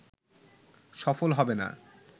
সফল হবে না